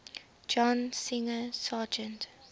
john singer sargent